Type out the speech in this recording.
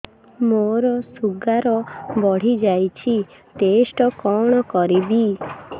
ମୋର ଶୁଗାର ବଢିଯାଇଛି ଟେଷ୍ଟ କଣ କରିବି